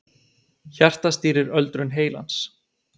Hjartað stýrir öldrun heilans